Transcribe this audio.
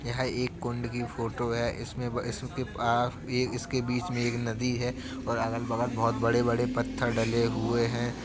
यह एक कुंड की फोटो है इसमें वा इसके पास इसके बीच में एक नदी है और अगल बगल बहुत बड़े बड़े पत्थर डले हुए हैं।